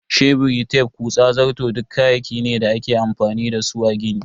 Sheburi, tef, kutsa, zarto duk kayaki ne da ake amfani da su a gini.